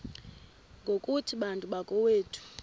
ngokuthi bantu bakowethu